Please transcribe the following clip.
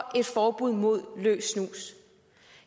et forbud mod løs snus